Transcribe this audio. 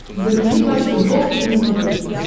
загрузи матч футбол три на смотрешке